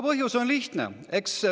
Põhjus on lihtne.